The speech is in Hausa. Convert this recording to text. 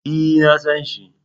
E, na san shi.